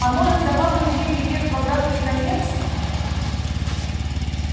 а может давала илье билет в обратный конец